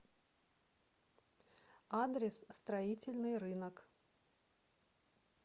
адрес строительный рынок